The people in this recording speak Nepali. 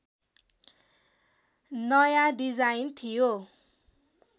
नयाँ डिजाइन थियो